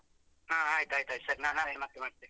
ಹಾ ಆಯ್ತು ಆಯ್ತು ಆಯ್ತು ಸರಿ ನಾನ್ ಆದ್ರೆ ಮತ್ತೆ ಮಾಡ್ತೇನೆ.